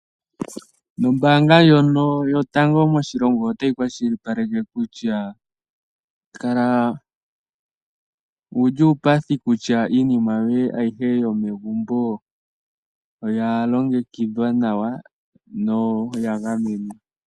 Ombaanga ndjono yotango moshilongo otayi kwashilipaleke kutya kala wuli uupathi kutya iinima yoye ayihe yomegumbo oya longekidhwa nawa na oya gamenwa.